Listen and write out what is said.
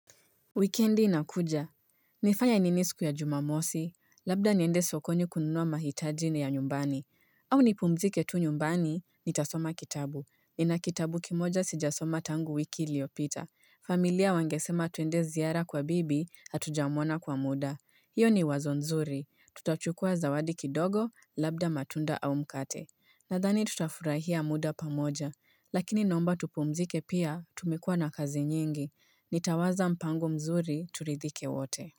Wikendi inakuja. Nifanya ninisku ya jumamosi. Labda niende sokoni kununua mahitajini ya nyumbani. Au ni pumzike tu nyumbani, nitasoma kitabu. Nina kitabu kimoja sijasoma tangu wiki liopita. Familia wangesema tuende ziara kwa bibi, hatujamona kwa muda. Hiyo ni wazo nzuri. Tutachukua zawadi kidogo, labda matunda au mkate. Nadhani tutafurahia muda pamoja, lakini nomba tupumzike pia tumikuwa na kazi nyingi, nitawaza mpango mzuri turidhike wote.